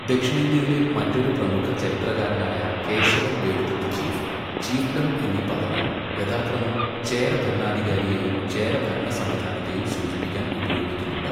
ദക്ഷിണേന്ത്യയിലെ മറ്റൊരു പ്രമുഖ ചരിത്രകാരനായ കേശവൻ വേലുതത്ത് ചീഫ്, ചീഫ്ഡം എന്നീ പദങ്ങൾ യഥാക്രമം ചേര ഭരണാധികാരിയെയും ചേര ഭരണസംവിധാനത്തെയും സൂചിപ്പിക്കാൻ ഉപയോഗിക്കുന്നുണ്ട്.